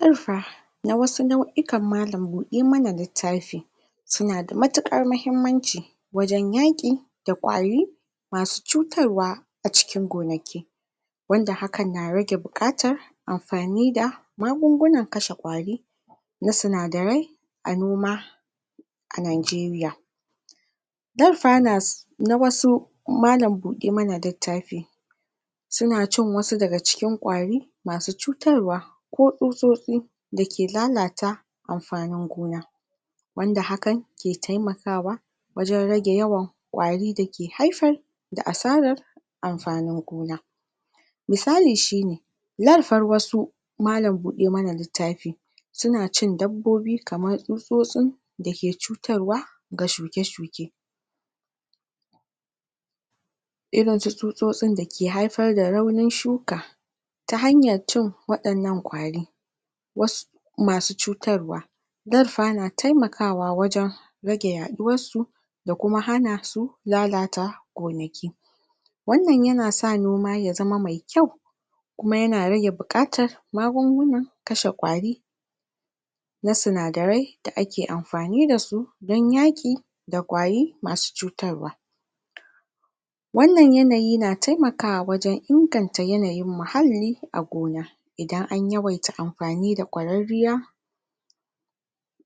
To fa! Ga waɗansu nau'ikan malam-buɗe-ma-na-liattafi su na damatuƙar mahimmanci wajen yaƙi da ƙwari ma su cutarwa a cikin gonaki, wanda hakan na rage buƙatar amfani da magungunan kashe ƙwari na sinadarai a noma a Nigeria, dolperners na wasu malam-buɗe-ma-na-littafi su na cin wasu daga cikin ƙwari ma su cutarwa ko tsutsotsi da ke lalata amfanin gona, wanda hakan ke taimakawa wajen rage yawan ƙwari da ke haifar da asarar amfanin gona. misali shine: larfar wasu malam-buɗe-ma-na-littafi su na cin dabbobi kamar tsutsotsin da ke cutarwa ga shuke-shuke, irinsu tsotsotsin da ke haifar da raunin shuka ta hanyar cin waɗannan ƙwari wasu ma su cutarwa, darfa na taimakawa wajen rage yaɗuwarsu da kuma hana su lalata gonaki, wannan ya na sa noma ya zama mai kyau, kuma ya na rage buƙatar magungunan kashe ƙwari na sinadarai da ake amfani da su don yaƙi da ƙwari masu cutarwa. wannan yanayi na taimakawa wajen inganta yanayin muhalli a gona, iadan an yawaita amfani da ƙwararriyar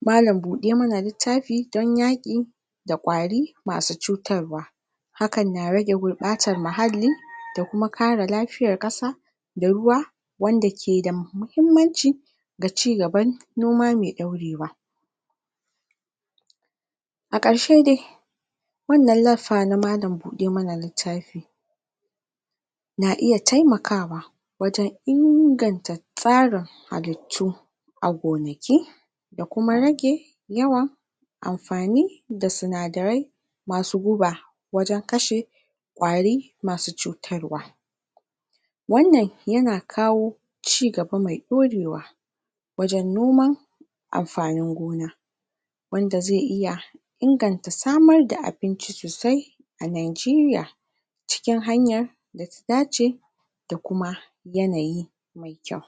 malam-buɗ-ma-na-littafi don yaƙi da ƙwari ma su cutarwa, hakan na rage gubɓatar muhalli da kuma kare lafiyar ƙasa da ruwa wanda ke da muhimmanci ga cigaban noma mai ɗorewa. A ƙarshe dai wannan laffa na malam-buɗe-ma-na-littafi na iya taimakawa wajen inganta tsarin halittu a gonaki, da kuma rage yawan amfani da sinadarai ma su guba wajen kashe ƙwari masu cutarwa, wannan ya na kawo cigaba mai ɗorewa wajen noman amfanin gona, wanda zai iya inganta samar da abinci sosai a Nigeria, cikin hanyar da ta dace da kuma yanayi mai kyau.